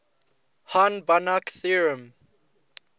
hahn banach theorem